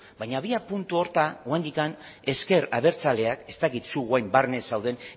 baina abiapuntu horretan oraindik ezker abertzaleak ez dakit orain zu barne zauden